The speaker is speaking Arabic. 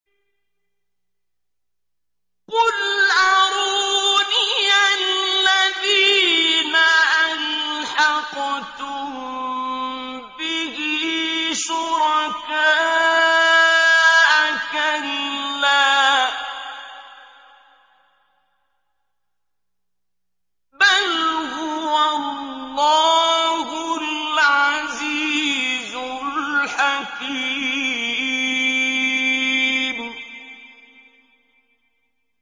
قُلْ أَرُونِيَ الَّذِينَ أَلْحَقْتُم بِهِ شُرَكَاءَ ۖ كَلَّا ۚ بَلْ هُوَ اللَّهُ الْعَزِيزُ الْحَكِيمُ